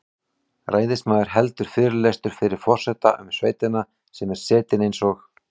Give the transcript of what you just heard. Ræðismaður heldur fyrirlestur fyrir forseta um sveitina sem er setin eins og